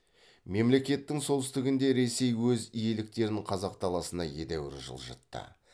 мемлекеттің солтүстігінде ресей өз иеліктерін қазақ даласына едәуір жылжытты